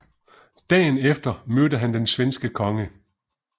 Dagen efter mødte han den svenske konge